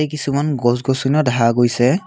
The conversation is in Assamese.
কিছুমান গছ গছনিও দেখা গৈছে।